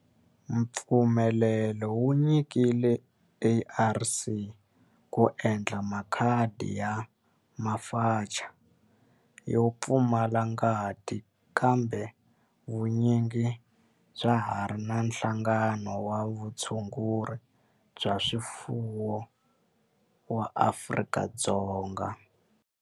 Mpfumelelo wu nyikile ARC ku endla makhadi ya FAMACHA yo pfumala ngati kambe vun'winyi bya ha ri bya Nhlangano wa Vutshunguri bya swifuwo wa Afrika-Dzonga.